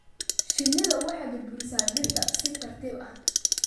Shinnidu waxay burburisaa dhirta si tartan ah.